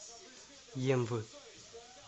емвы